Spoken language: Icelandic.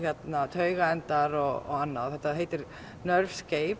taugaendar og annað þetta heitir